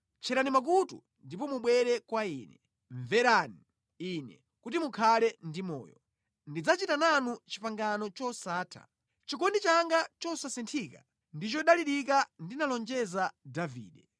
Tcherani makutu ndipo mubwere kwa Ine; mvereni Ine, kuti mukhale ndi moyo. Ndidzachita nanu pangano losatha, chikondi changa chija chosasinthika ndi chodalirika ndinalonjeza Davide.